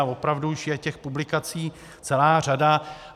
A opravdu už je těch publikací celá řada.